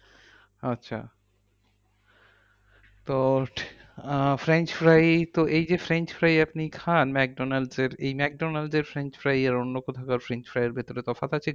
আচ্ছা তো ah french fry তো এই যে french fry আপনি খান ম্যাকডোনালসের। এই ম্যাকডোনালসের french fry আর অন্য কোথাকার french fry এর ভেতরে তফাৎ আছে কি?